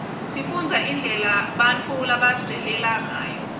sifundza indlela bautfu labadzaleke ngayo